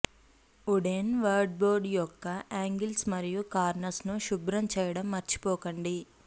wooden wardrobe యొక్క angles మరియు corners ను శుభ్రం చేయడం మర్చిపోకండి